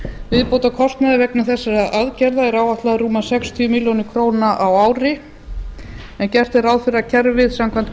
viðbótarkostnaður vegna þessara aðgerða er áætlaður rúmlega sextíu milljónir króna á ári en gert er ráð fyrir að kerfið samkvæmt